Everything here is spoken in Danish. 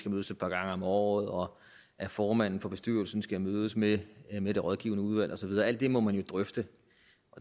mødes et par gange om året og at formanden for bestyrelsen skal mødes med med det rådgivende udvalg og så videre alt det må man jo drøfte